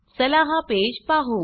चला हा पेज पाहु